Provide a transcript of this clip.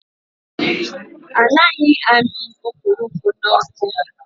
Anaghị amị okporoko n'ọkụ.